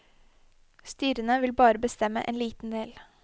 Styrene vil bare bestemme en liten del.